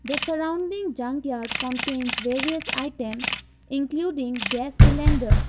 the surrounding junkyard contains various item including gas cylinder.